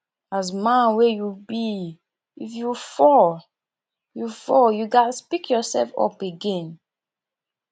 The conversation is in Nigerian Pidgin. as man wey you be if you fall you fall you ghas pick yourself up again